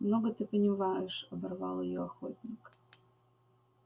много ты понимаешь оборвал её охотник